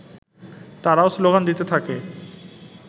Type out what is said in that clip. তারাও স্লোগান দিতে থাকে